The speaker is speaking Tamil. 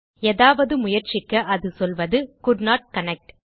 ஏதாவது முயற்சிக்க அது சொல்வது கோல்டன்ட் கனெக்ட்